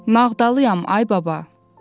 Nağdalıyam, ay baba.